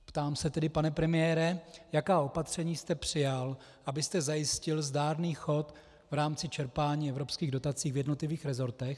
Ptám se tedy, pane premiére, jaká opatření jste přijal, abyste zajistil zdárný chod v rámci čerpání evropských dotací v jednotlivých resortech.